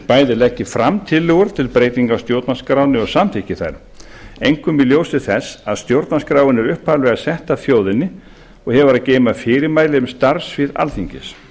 bæði leggi fram tillögur til breytinga á stjórnarskránni og samþykki þær einkum í ljósi þess að stjórnarskráin er upphaflega sett af þjóðinni og hefur að geyma fyrirmæli um starfssvið alþingis